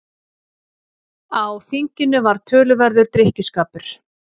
Á þinginu var töluverður drykkjuskapur.